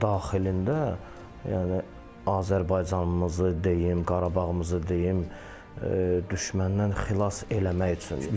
Daxilində yəni Azərbaycanımızı deyim, Qarabağımızı deyim, düşməndən xilas eləmək üçündür.